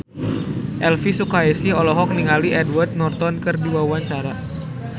Elvi Sukaesih olohok ningali Edward Norton keur diwawancara